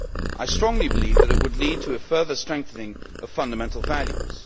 I strongly believe that it would lead to a further strengthening of fundamental values.